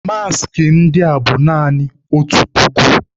Maaskị ndị a bụ naanị otu puku.